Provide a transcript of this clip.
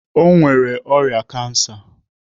O nwere ọrịa kansa.